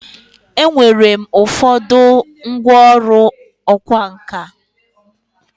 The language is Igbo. Enwere m ụfọdụ ngwọrụ ọkwa nka.